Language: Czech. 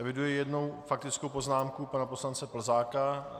Eviduji jednu faktickou poznámku pana poslance Plzáka.